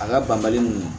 A ka banbali nunnu